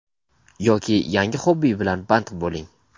yoki yangi hobby bilan band bo‘ling.